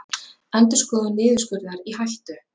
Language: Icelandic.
Endurskoðun niðurskurðar í hættu